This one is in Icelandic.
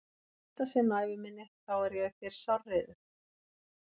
Og í fyrsta sinn á ævi minni þá er ég þér sárreiður.